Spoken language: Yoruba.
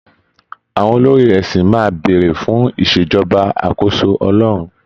Àwọn olórí ẹ̀sìn máa béèrè fún ìṣèjọba àkóso Ọlọ́run